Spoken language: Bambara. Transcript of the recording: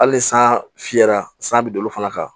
Hali ni san fiyɛra san bɛ don olu fana kan